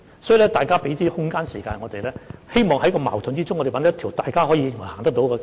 所以，請大家給予我們空間和時間，我們希望能在矛盾中找到一條大家均認為可行的道路。